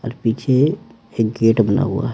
और पीछे एक गेट बना हुआ है।